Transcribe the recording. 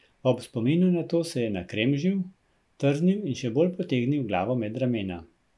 Ob spominu na to se je nakremžil, trznil in še bolj potegnil glavo med ramena.